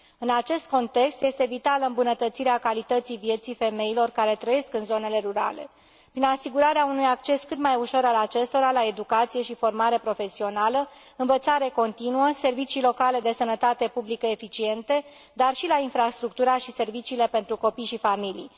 În acest context, este vitală îmbunătățirea calității vieții femeilor care trăiesc în zonele rurale, prin asigurarea unui acces cât mai ușor al acestora la educație și formare profesională, învățare continuă, servicii locale de sănătate publică eficiente, dar și la infrastructura și serviciile pentru copii și familii.